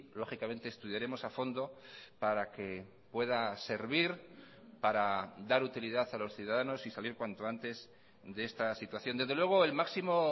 lógicamente estudiaremos a fondo para que pueda servir para dar utilidad a los ciudadanos y salir cuanto antes de esta situación desde luego el máximo